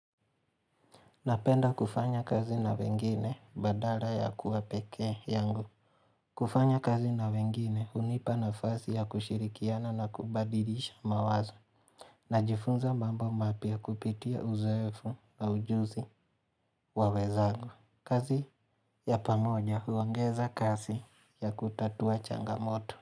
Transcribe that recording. Napenda kufanya kazi na wengine badala ya kuwa pekee yangu kufanya kazi na wengine unipa nafasi ya kushirikiana na kubadilisha mawazoi ya kushirikiana na kubadilisha mawazo Najifunza mambo mapya kupitia uzoefu na ujuzi wa wenzangu. Kazi ya pamoja huongeza kazi ya kutatua changamoto.